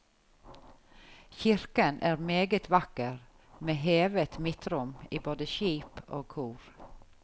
Kirken er meget vakker med hevet midtrom i både skip og kor.